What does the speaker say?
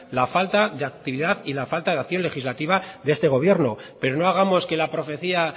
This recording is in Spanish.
la falta de actividad y la falta de acción legislativa de este gobierno pero no hagamos que la profecía